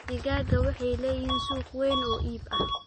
Digaagga waxay leeyihiin suuq weyn oo iib ah.